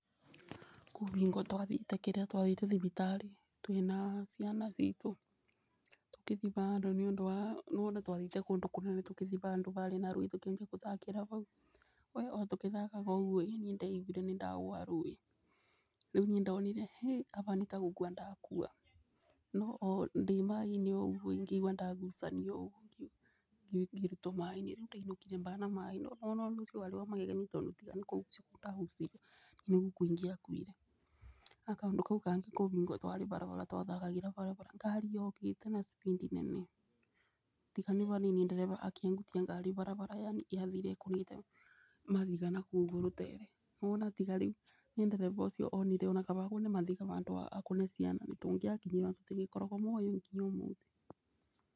Kwĩbingo twathiĩte kĩrĩa twathiĩte thibitarĩ twĩna ciana citũ tũkĩthi bandũ nĩ ũndũ wa twathiĩte kũndũ kũnene tũkĩthi bandũ barĩ na rũĩ tũkĩthi kũthakĩra bau. We otũkĩthakaga ũguo ĩ niĩ ndaiguire nĩ ndagwa rũĩ, rĩu niĩ ndonire ĩ aba nĩ tagũkua ndakua no ndĩmaaĩ-inĩ oũguo ngĩigua ndagucanio ũguo ngĩrutwo maaĩ-inĩ rĩu ndainũkire bana maaĩ. No nĩ wona ũndũ ũcio warĩ wa magegania tondũ tiga nĩ kũgucio ndagucirio nĩ gũkua ingĩakuire. Na kaũndũ kau kangĩ kwĩ bingo twarĩ barabara twathakagĩra barabara ngari yokĩte na speed nene. Tiga nĩ banini ndereba akĩebuia ngari barabara yani yathire ĩkũthĩte mabiga nakũu ũguo rũtere, nĩ wona tiga rĩu nĩ ndereba ũcio onire ona kaba abũre mabiga bandũ akore ciana tũngĩakinyirwo ona tũtingĩkoragwo muoyo nginya ũmũthĩ.